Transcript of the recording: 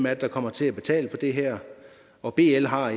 er der kommer til at betale for det her og bl har